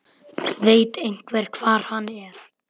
Veit einhver hvar hann er?